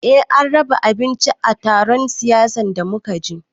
Eh an raba abinci a taron siyasan da muka je